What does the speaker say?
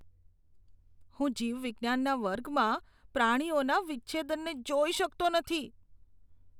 હું જીવવિજ્ઞાનના વર્ગમાં પ્રાણીઓના વિચ્છેદનને જોઈ શકતો નથી.